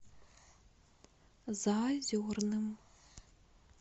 заозерным